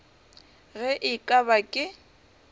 ge e ka ba ke